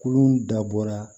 Kurun dabɔra